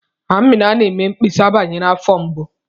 Amina na-eme mkpesa banyere afọ mgbu.